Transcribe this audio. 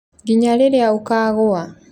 nginya rĩrĩa ũkaagũa